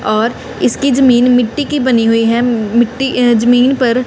और इसकी जमीन मिट्टी की बनी हुई है मिट्टी अ जमीन पर--